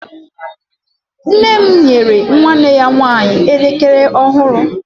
nne m nyere nwanne ya nwanyi elekere ọhụrụ